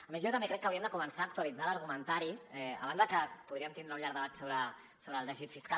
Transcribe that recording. a més jo també crec que hauríem de començar a actualitzar l’argumentari a banda que podríem tindre un llarg debat sobre el dèficit fiscal